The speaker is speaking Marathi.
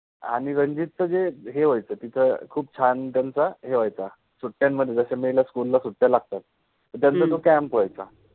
आणि रंजित जे हे व्हायच तिथ खुप छान त्यांचा हे व्हायचा, सुट्ट्यान्मधे, जसे मे ला SCHOOL ला सुट्ट्या लागतात, त त्यांचा तो CAMP व्हायचा